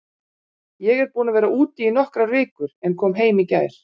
Ég er búinn að vera úti í nokkrar vikur en kom heim í gær.